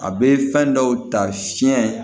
A bɛ fɛn dɔw ta fiɲɛ